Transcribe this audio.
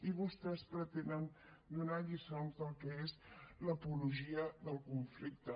i vostès pretenen donar lliçons del que és l’apologia del conflicte